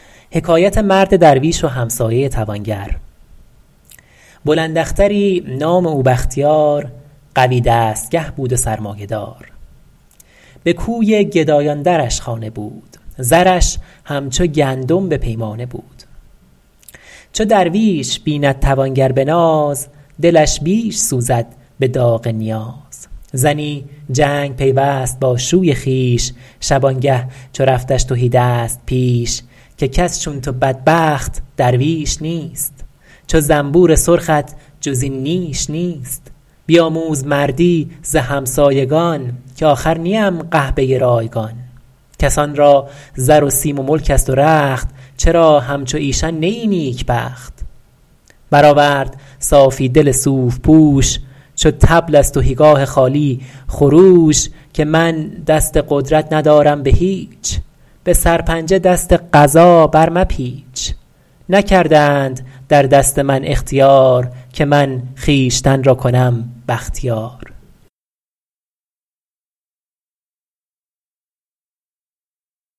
بلند اختری نام او بختیار قوی دستگه بود و سرمایه دار به کوی گدایان درش خانه بود زرش همچو گندم به پیمانه بود چو درویش بیند توانگر به ناز دلش بیش سوزد به داغ نیاز زنی جنگ پیوست با شوی خویش شبانگه چو رفتش تهیدست پیش که کس چون تو بدبخت درویش نیست چو زنبور سرخت جز این نیش نیست بیاموز مردی ز همسایگان که آخر نیم قحبه رایگان کسان را زر و سیم و ملک است و رخت چرا همچو ایشان نه ای نیکبخت بر آورد صافی دل صوف پوش چو طبل از تهیگاه خالی خروش که من دست قدرت ندارم به هیچ به سرپنجه دست قضا بر مپیچ نکردند در دست من اختیار که من خویشتن را کنم بختیار